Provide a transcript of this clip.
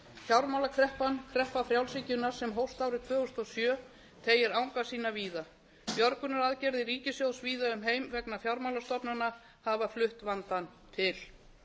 fjármálakreppan kreppa frjálshyggjunnar sem hófst árið tvö þúsund og sjö teygir anga sína víða björgunaraðgerðir ríkissjóðs víða um heim vegna fjármálastofnana hafa flutt vandann til